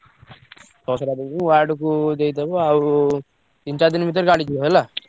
ଛଅ ଶହଟା ଦେଦେବି ward କୁ ଦେଇଦବ ଆଉ ତିନି ଚାରିଦିନି ଭିତରେ ଜାଣିଯିବ ଯିବ ହେଲା।